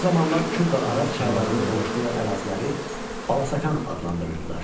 O zamanlar Kür və Araz çaylarının qovuşduğu əraziləri Balasakan adlandırırdılar.